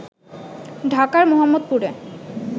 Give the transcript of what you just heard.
ঢাকার মোহাম্মদপুরে